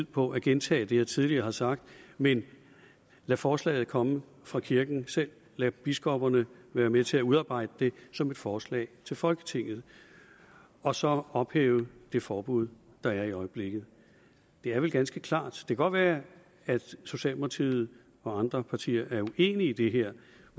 på at gentage det jeg tidligere har sagt men lade forslaget komme fra kirken selv lade biskopperne være med til at udarbejde det som et forslag til folketinget og så ophæve det forbud der er i øjeblikket det er vel ganske klart det kan godt være at socialdemokratiet og andre partier er uenige i det her